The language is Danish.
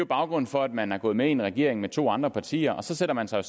baggrunden for at man er gået med i en regering med to andre partier så sætter man sig